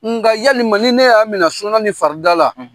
Nka yalima ni ne y'a minɛ sunan ni farida la